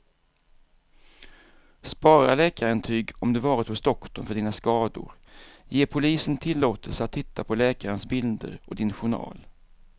Spara läkarintyg om du varit hos doktorn för dina skador, ge polisen tillåtelse att titta på läkarens bilder och din journal.